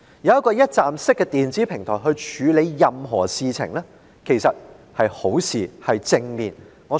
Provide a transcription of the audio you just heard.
以一站式電子平台處理強積金事務其實是正面的。